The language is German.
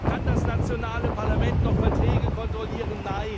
Kann das nationale Parlament noch Verträge kontrollieren?